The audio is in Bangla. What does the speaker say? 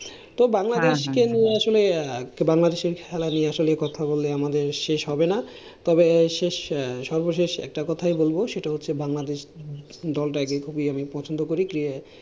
তো বাংলাদেশকে নিয়ে আসলে বাংলাদেশের খেলা নিয়ে আসলে কথা বলে আমাদের শেষ হবে না। তবে শেষ সর্বশেষে একটা কথাই বলবো সেটা হচ্ছে বাংলাদেশ দলটাকে খুবই আমি পছন্দ করি। যে,